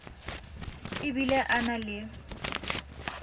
e bile a na le